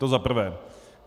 To za prvé.